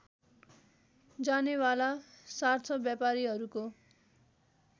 जानेवाला सार्थ व्यापारीहरूको